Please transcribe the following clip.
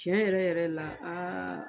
Tiɲɛ yɛrɛ yɛrɛ la